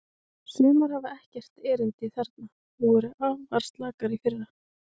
Sumar hafa ekkert erindi þarna og voru arfaslakar í fyrra.